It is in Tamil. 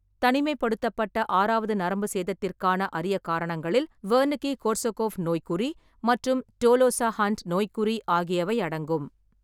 தனிமைப்படுத்தப்பட்ட ஆறாவது நரம்பு சேதத்திற்கான அரிய காரணங்களில் வெர்னிக்கி-கோர்சகோஃப் நோய்க்குறி மற்றும் டோலோசா-ஹன்ட் நோய்க்குறி ஆகியவை அடங்கும்.